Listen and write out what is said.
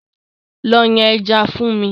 Lọ yan ẹja fún mi!